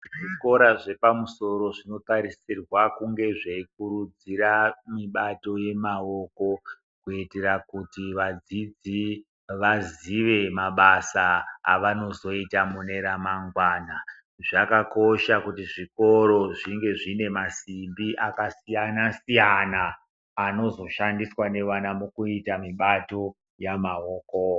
Zvikora zvepamusoro zvinotarisirwa kunge zveikurudzira mibato yemaoko kuitira kuti vadzidzi vazive mabasa avanozoita mune remangwana zvakakosha kuti zvikora zvinge zvine masimbi akasiyanasiyana anozoshandiswa nevana mukuita mibato yamaoko.